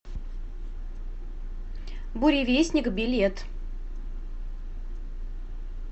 буревестник билет